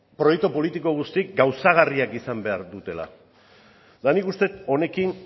proiektu politiko guztiak gauzagarriak izan behar dutela eta nik uste dut honekin